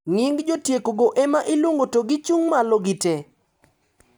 Nying jotieko go ema iluongo to gichung` malo gitee.